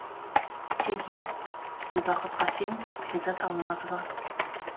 теги гүлбақыт қасен перизат алмазова